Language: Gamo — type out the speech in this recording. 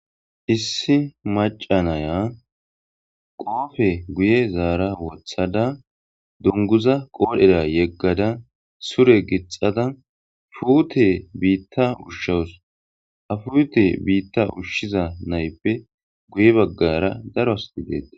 issi maca naya qoofe guye zaara wothada dunguza qoodhera yeggada sure gixada fuute biitta ushshawus ha fuute biitta ushshiza nayippe guye baggara daro asti deettes